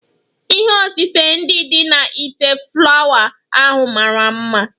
Ihe osise ndị dị na ite flawa ahụ mara mma